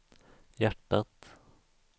hjärtat